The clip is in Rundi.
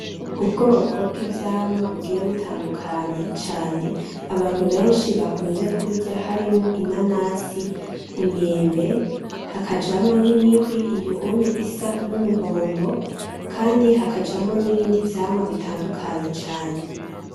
Ubwoko bw'ivyamwa bugiye butandukanye cane abantu benshi bakunze kurya harimwo inanasi, umwembe hakajamwo n'imihwi iyo onye isa n'umuhondo, kandi hakajamwo nibindi vyamwa bitandukanye.